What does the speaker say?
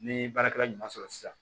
Ni baarakɛla ɲuman sɔrɔ sisan